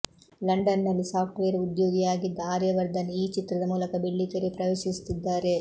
ಲಂಡನ್ನಲ್ಲಿ ಸಾಫ್ಟ್ವೇರ್ ಉದ್ಯೋಗಿಯಾಗಿದ್ದ ಆರ್ಯವರ್ಧನ್ ಈ ಚಿತ್ರದ ಮೂಲಕ ಬೆಳ್ಳಿತೆರೆ ಪ್ರವೇಶಿಸುತ್ತಿದ್ದಾರೆ